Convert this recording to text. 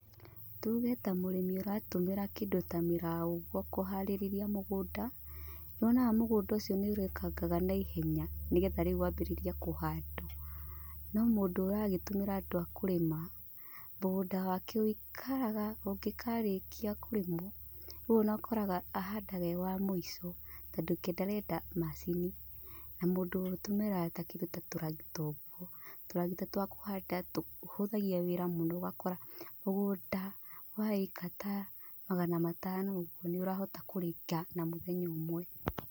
Tuge ta mũrĩmi ũratũmĩra kĩndũ ta mĩraũ ũguo kũharĩrĩria mũgũnda, nĩ wonaga mũgũnda ũcio nĩ ũrĩkangaga naihenya, nĩgetha rĩu wambĩrĩrie kũhandwo. No mũndũ ũragĩtũmĩra andũ a kũrĩma, mũgũnda wake ũikaraga ũngĩkarĩkia kũrĩmwo, rĩu ona ũkoraga ahandaga e wa mũico, tondũ ke ndarenda macini, na mũndũ ũtũmĩraga ta kĩndũ ta tũragita ũguo, tũragita twa kũhanda tũhũthagia wĩra mũno ũgakora mũgũnda wa ĩka ta magana matano ũguo nĩ ũrahota kũrĩka na mũthenya ũmwe.